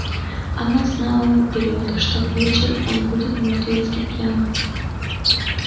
она знала наперёд что к вечер он будет мертвецки пьян